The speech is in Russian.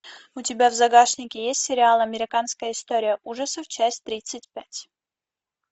у тебя в загашнике есть сериал американская история ужасов часть тридцать пять